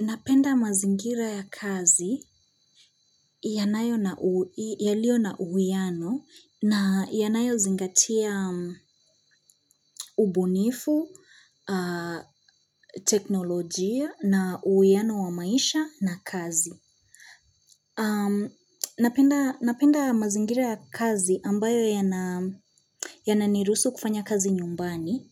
Napenda mazingira ya kazi yanayo na, yaliyo na uwiano na yanayo zingatia ubunifu, teknolojia na uwiano wa maisha na kazi. Napenda mazingira ya kazi ambayo yananirusuhu kufanya kazi nyumbani